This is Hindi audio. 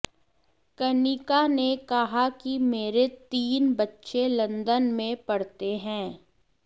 कनिका ने कहा कि मेरे तीन बच्चे लंदन में पढ़ते हैं